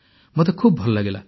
ମୋତେ ଖୁବ୍ ଭଲ ଲାଗିଲା